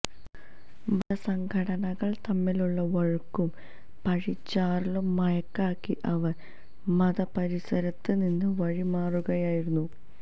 മതസംഘടനകള് തമ്മിലുള്ള വഴക്കും പഴിചാരലും മറയാക്കി അവര് മതപരിസരത്ത് നിന്ന് വഴിമാറുകയായിരുന്നു